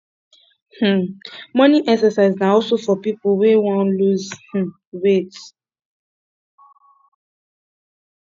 um morning exercise na also for pipo wey won loose um weight